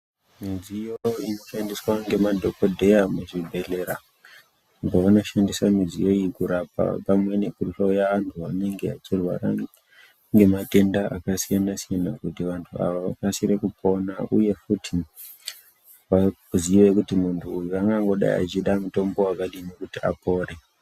Midziyo inoshandiswa ngemadhogodheya muzvibhedhlera uko vanoshandisa midziyo iyi kurapa pamwe nekuhloya antu anenge achirwara ngematenda akasiyana-siyana kuti vantu ava vakasire kupora. Uye futi vazive kuti muntu angangodai achida mutombo wakadini kuti apore.